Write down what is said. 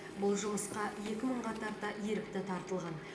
бұл жұмысұа екі мыңға тарта ерікті тартылған